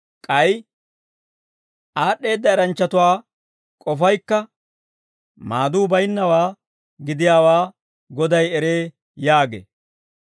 K'ay, «Aad'd'eedda eranchchatuwaa k'ofaykka, maaduu baynnawaa gidiyaawaa Goday eree» yaagee.